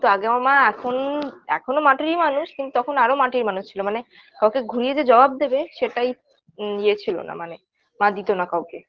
তো আগে আমার মা এখন এখনও মাটিরই মানুষ কিন্তু তখন আরো মাটির মানুষ ছিলো মানে কাউকে ঘুরিয়ে যে জবাব দেবে সেটাই ইয়ে ছিলো না মানে মা দিতোনা কাউকে